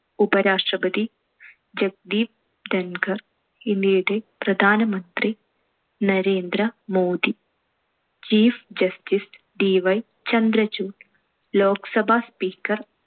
ഉപരാഷ്‌ട്രപതി ജഗദീപ് ധൻകർ. ഇന്ത്യയുടെ പ്രധാനമന്ത്രി Narendra Modi. chief justicedy Chandrachud. Lok Sabha speaker